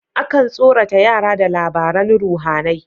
Akan tsorata yara da labaran ruhAnai